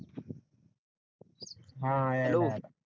हा हा